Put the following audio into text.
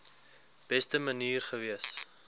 beste manier gewees